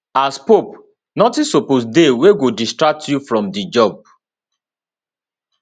as pope notin suppose dey wey go distract you from di job